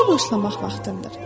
İşə başlamaq vaxtındır.